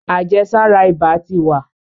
àjẹsára ibà tí wa.